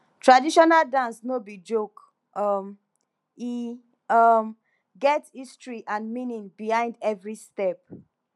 traditional dance no be joke um e um get history and meaning behind every step